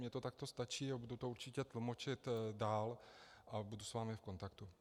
Mně to takto stačí a budu to určitě tlumočit dál a budu s vámi v kontaktu.